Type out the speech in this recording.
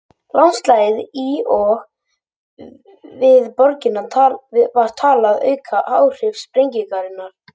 landslagið í og við borgina var talið auka áhrif sprengingarinnar